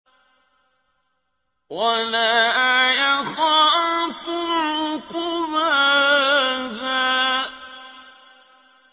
وَلَا يَخَافُ عُقْبَاهَا